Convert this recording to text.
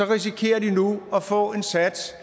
risikerer at få en sats